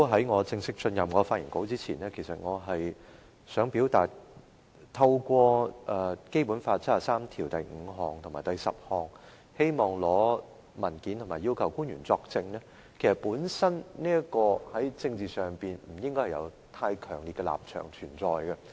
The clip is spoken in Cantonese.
我在正式發言前想表達，議員根據《基本法》第七十三條第五及十項提出議案，要求官員作證及出示文件，本身在政治上不存在太強烈的立場。